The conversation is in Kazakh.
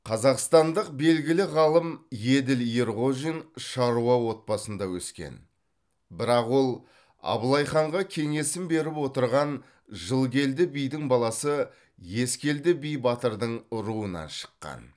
қазақстандық белгілі ғалым еділ ерғожин шаруа отбасында өскен бірақ ол абылайханға кеңесін беріп отырған жылкелді бидің баласы ескелді би батырдың руынан шыққан